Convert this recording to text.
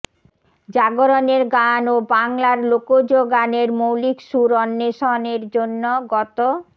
জাগরণের গান ও বাংলার লোকজ গানের মৌলিক সুর অন্বেষণ এর জন্য গত